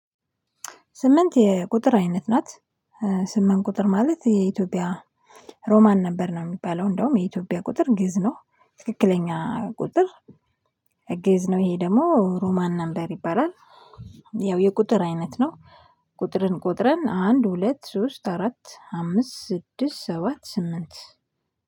ስምንት የቁጥር አይነት ናት። ስምንት ቁጥር ማለት የኢትዮጵያ ሮማን ነበር ነው የሚባለው እንደውም የኢትዮጵያ ቁጥር ግእዝ ነው ትክክለኛ ቁጥር። ግእዝ ነው ይሄ ደግሞ ሮማን ነበር ይባላል። ያው የቁጥር አይነት ነው። ቁጥርን ቆጥረን አንድ ሁለት ሶስት አራት አምስት ስድስት ሰባት ስምንት